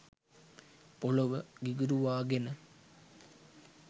පොළොව ගිඟුරුවා ගෙන